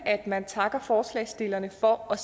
at man takker forslagsstillerne for at